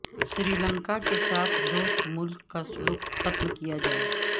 سری لنکا کے ساتھ دوست ملک کا سلوک ختم کیا جائے